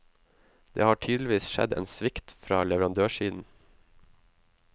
Det har tydeligvis skjedd en svikt fra leverandørsiden.